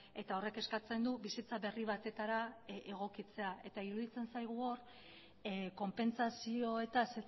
eta horrek eskatzen du bizitza berri batetara egokitzea eta iruditzen zaigu hor konpentsazioetaz